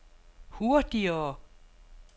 hurtigere